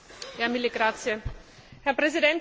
Herr Präsident, liebe Kolleginnen und Kollegen!